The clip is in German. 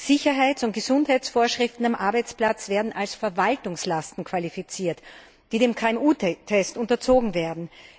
Sicherheits und Gesundheitsvorschriften am Arbeitsplatz werden als Verwaltungslasten qualifiziert, die dem KMU Test unterzogen werden.